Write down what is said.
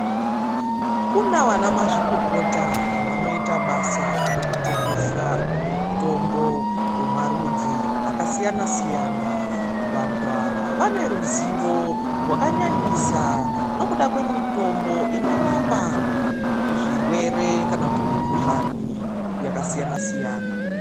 Kuna vana mazvikokota vanoita basa rekutengesa mitombo yemarudzi akasiyana siyana. Vantu ava vane ruzivo rwakanyanyisa, nekuda kwemitombo inorapa zvirwere kana kuti mikhuhlani yakasiyana siyana.